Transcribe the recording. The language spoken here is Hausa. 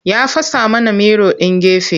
Ya fasa mana miro ɗin gefe.